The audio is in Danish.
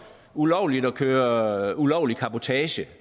ulovligt at køre ulovlig cabotage